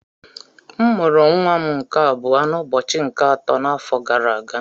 M mụrụ nwa m nke abụọ n'ụbọchị nke atọ nke afọ gara aga